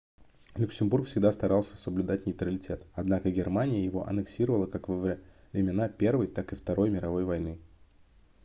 люксембург всегда старался соблюдать нейтралитет однако германия его анексировала как во временна первой так и второй мировой войны